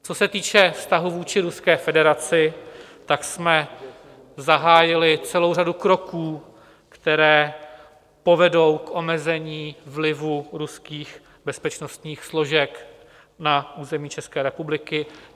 Co se týče vztahu vůči Ruské federaci, tak jsme zahájili celou řadu kroků, které povedou k omezení vlivu ruských bezpečnostních složek na území České republiky.